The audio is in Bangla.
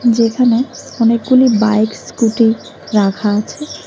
যেখানে অনেকগুলি বাইক স্কুটি রাখা আছে।